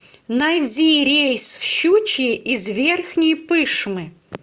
найди рейс в щучье из верхней пышмы